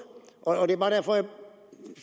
og det bare derfor